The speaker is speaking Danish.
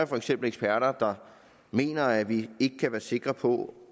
for eksempel eksperter der mener at vi ikke kan være sikre på